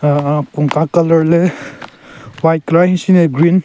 Aaahhh kunka colour le white colour ahenshin ne green.